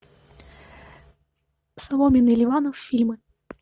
соломин и ливанов фильмы